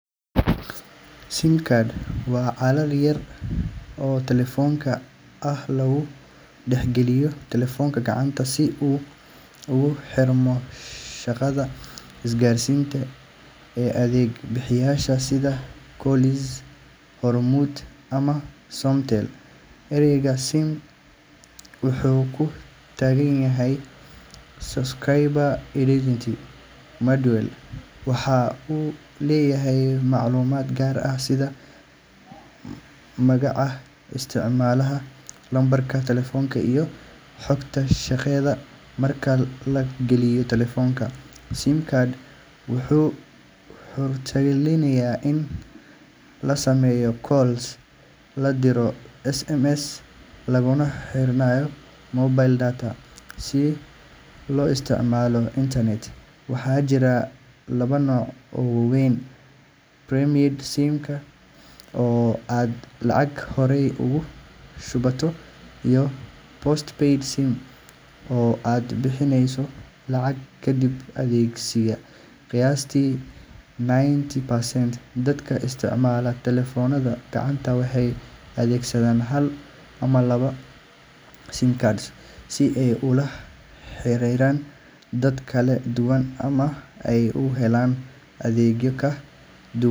SIM card waa kaarar yar oo elektaroonig ah oo lagu dhex geliyo telefoonka gacanta si uu ugu xirmo shabakadda isgaarsiineed ee adeeg bixiyayaasha sida Golis, Hormuud, ama Somtel. Erayga SIM wuxuu u taagan yahay Subscriber Identity Module, waxaana uu leeyahay macluumaad gaar ah sida magaca isticmaalaha, lambarka telefoonka, iyo xogta shabakadda. Marka la geliyo telefoonka, SIM card wuxuu suurtagelinayaa in la sameeyo calls, la diro SMS, laguna xirnaado mobile data si loo isticmaalo internet. Waxaa jira laba nooc oo waaweyn: prepaid SIM oo aad lacag horey ugu shubato, iyo postpaid SIM oo aad bixinayso lacag kadib adeegsiga. Qiyaastii ninety percent dadka isticmaala telefoonada gacanta waxay adeegsadaan hal ama laba SIM cards si ay ula xiriiraan dad kala duwan ama ay u helaan adeegyo ka duwan.